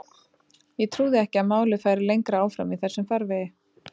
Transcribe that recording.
Ég trúði ekki að málið færi lengra áfram í þessum farvegi.